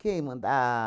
Quem man a?